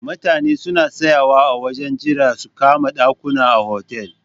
Mutane suna tsayawa a wajen jira su kama ɗakuna a hotel.